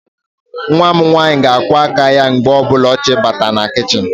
Nwa m nwaanyị ga-akwọ aka ya mgbe ọbụla ọ chọrọ Ị bata na kichin.